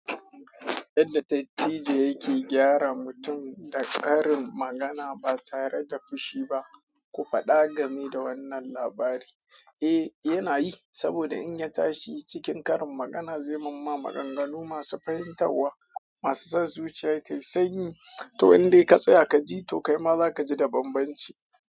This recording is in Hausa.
Yadda dattijo yake gyara mutum da ƙarin magana ba tare da fushi ba. Ku faɗa game da wannan labari. Eh, yana yi, saboda in ya tashi cikin ƙarin magana zai mamma maganganu masu fahimtawa, masu sa zuciya tai sanyi. To indai ka tsaya ka ji, to kai ma za ka ji da banbanci.